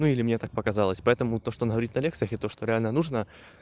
ну или мне так показалось поэтому то что она говорит на лекциях и то что реально нужно